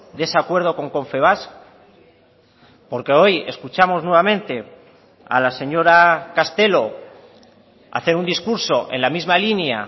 de ese acuerdo con confebask porque hoy escuchamos nuevamente a la señora castelo hacer un discurso en la misma línea